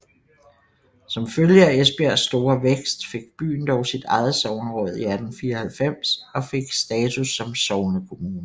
Som følge af Esbjergs store vækst fik byen dog sit eget sogneråd i 1894 og fik status som sognekommune